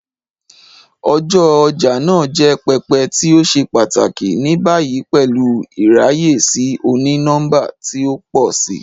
Ọja ọja naa jẹ pẹpẹ ti o ṣe pataki, ni bayi pẹlu iraye si oni-nọmba ti o pọ si.